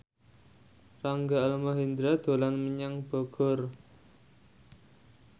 Rangga Almahendra dolan menyang Bogor